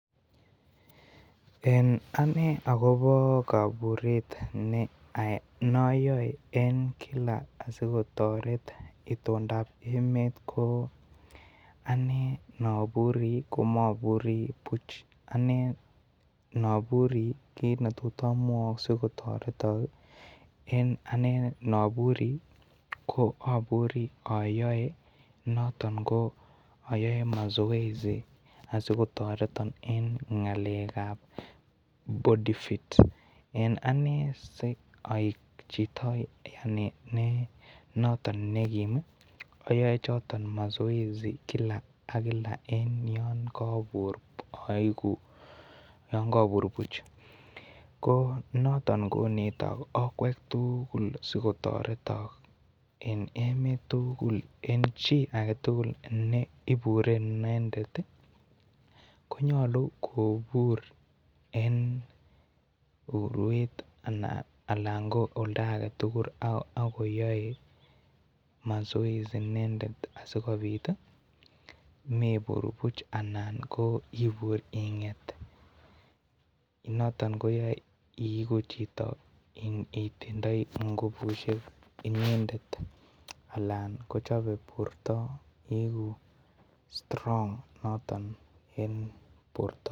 En Ane en kaburet ayoe en kila asikotoret itondap ko Ane nobure ko moburi Buch noburi kit netot amwok asikotoretok Ane noburi ko ayoe noton ko masoesi asikotoretok en ngalek gap body fit en Ane asoik Chito noton negim ayoe choton masoesi kila ak kila en yon kobur kobur Buch noton konetok okwek tugul asikotoretok en emet tugul en chi agetugul NE ibure inendet konyolu kobur en urwet Alan KO oldo aketugulakoyoe masoesi inendet asikobit mebur Buch Alan KO ibur inget noton koyoe ibur igu Chito netinye ngubushek inendet Alan kochobe borto igu strong noton en borto